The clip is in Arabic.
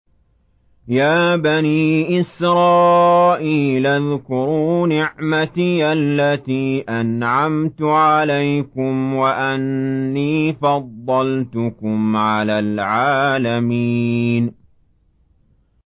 يَا بَنِي إِسْرَائِيلَ اذْكُرُوا نِعْمَتِيَ الَّتِي أَنْعَمْتُ عَلَيْكُمْ وَأَنِّي فَضَّلْتُكُمْ عَلَى الْعَالَمِينَ